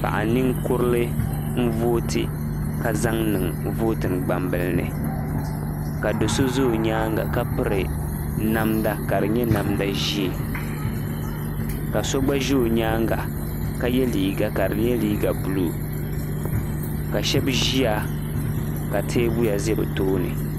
Paɣa ninkurili n vooti ka zaŋ niŋ vootin gbambilini ka do so za o nyaaŋa ka piri namda ka di nye namda ʒee ka so gba ʒe o nyaaŋa ka ye liiga ka di nyɛ liiga buluu ka Shɛbi ʒiya ka teebuya ʒe bɛ tooni.